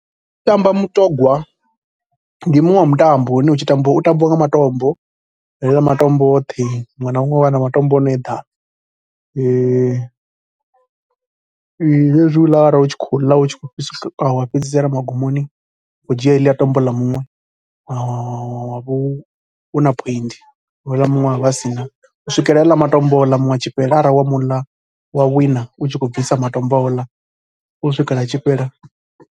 Hu tshi tambiwa mutogwa ndi muṅwe wa mutambo une u tshi tambiwa u tambiwa nga matombo. Haaḽa matombo oṱhe, muṅwe na muṅwe u vha a na matombo a no eḓana. Hezwiḽa arali u tshi khou ḽa u tshi khou wa fhedzisela magumoni u khou dzhia heḽia tombo ḽa muṅwe wa vha u na point, houḽa muṅwe a vha a si na, u swikela haaḽa matombo a muṅwe a tshi fhela arali wa mu ḽa a wina u tshi khou bvisa matombo a tshi fhela a houḽa a wina, u swikela matombo a tshi fhela.